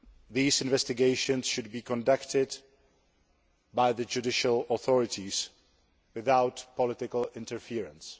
These investigations should be conducted by the judicial authorities without political interference.